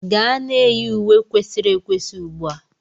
Gaa na-eyi uwe kwesịrị ekwesị ugbu a!